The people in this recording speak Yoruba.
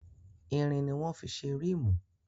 Irin ni wọ́n fí ṣe rímù.